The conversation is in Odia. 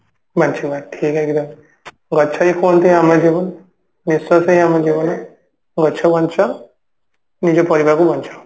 ବଞ୍ଚିବା ଠିକ ଗଛ ହିଁ ହୁଅନ୍ତି ଆମ ଜୀବନ ନିଶ୍ଵାସ ହିଁ ଆମ ଜୀବନ ଗଛ ବଞ୍ଚାଅ ନିଜ ପରିବାରକୁ ବଞ୍ଚାଅ